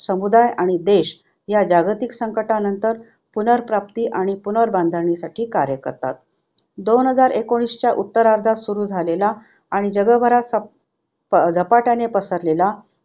समुदाय आणि देश या जागतिक संकटानंतर पुनर्प्राप्ती आणि पुनर्बांधणीसाठी कार्य करतात. दोन हजार एकोणीसच्या उत्तर्रार्धात सुरु झालेला आणि जगभरात सप झपाट्याने पसरलेला